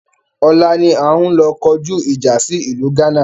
Ọ̀la ni a ń lọ kọjú ìjà sí ìlú gánà